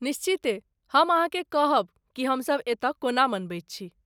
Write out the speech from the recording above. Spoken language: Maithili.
निश्चिते ! हम अहाँकेँ कहब कि हमसभ एतऽ कोना मनबैत छी।